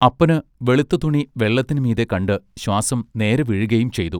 അപ്പന് വെളുത്ത തുണി വെള്ളത്തിനുമീതെ കണ്ട് ശ്വാസം നേരെ വീഴുകയും ചെയ്തു.